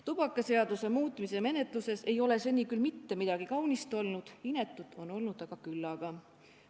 Tubakaseaduse muutmise menetluses ei ole seni küll mitte midagi kaunist olnud, inetut on olnud aga küllaga.